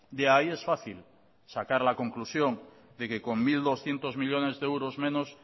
de ahí es fácil sacar la conclusión de que con mil doscientos millónes de euros menos